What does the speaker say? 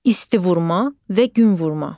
İsti vurma və gün vurma.